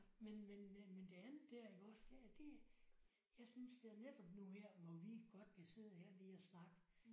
Men men men det andet der iggås. Ja det jeg synes det er netop nu her hvor vi godt kan sidde her lige og snakke